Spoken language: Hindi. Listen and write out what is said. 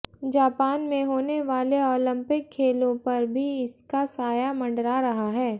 जापान में होने वाले ओलिंपिक खेलों पर भी इसका साया मंडरा रहा है